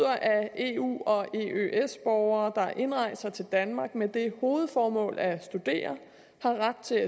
at eu og eøs borgere der indrejser til danmark med det hovedformål at studere har ret til